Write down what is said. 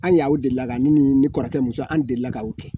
An y'aw delila ka ne ni n kɔrɔkɛ muso an delila ka o kɛ